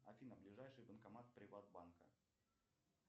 афина ближайший банкомат приват банка